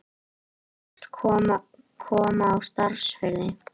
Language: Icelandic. Hyggst koma á starfsfriði